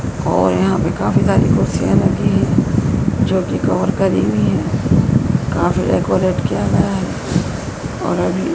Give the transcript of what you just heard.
और यहां पे काफी सारी कुर्सियां लगी हैं जो कि कवर करी हुई हैं काफी डेकोरेट किया गया है और अभी--